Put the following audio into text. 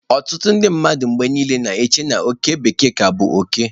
Ọtụtụ ndị mmadụ na-eche mgbe niile na oke bekee ka bụ oke.